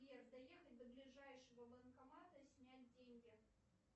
сбер доехать до ближайшего банкомата снять деньги